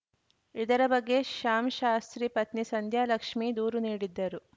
ಇದರ ಬಗ್ಗೆ ಶ್ಯಾಮ್‌ ಶಾಸ್ತ್ರಿ ಪತ್ನಿ ಸಂಧ್ಯಾಲಕ್ಷ್ಮೀ ದೂರು ನೀಡಿದ್ದರು